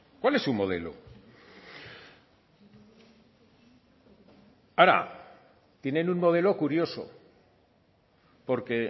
cuál es su modelo ahora tienen un modelo curioso porque